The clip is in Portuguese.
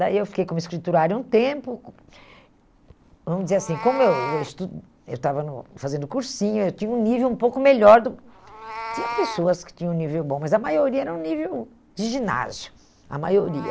Daí eu fiquei como escriturária um tempo, vamos dizer assim, como eu eu estu eu estava no fazendo cursinho, eu tinha um nível um pouco melhor do, tinha pessoas que tinham um nível bom, mas a maioria era um nível de ginásio, a maioria.